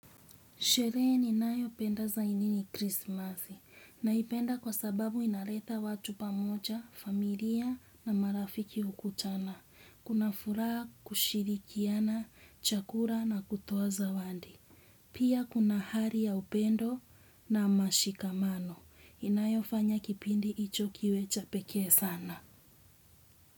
Sheree ni nayo penda zaini ni krismasi. Naipenda kwa sababu inareta watu pamoja, familia na marafiki hukutana. Kuna furaa kushirikiana, chakura na kutowa zawandi. Pia kuna hari ya upendo na mashikamano. Inayo fanya kipindi icho kiwe chapekee sana.